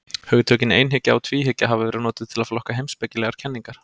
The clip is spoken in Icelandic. Hugtökin einhyggja og tvíhyggja hafa verið notuð til að flokka heimspekilegar kenningar.